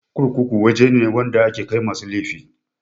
Kurkuku waje ne wanda ake kai masu laifi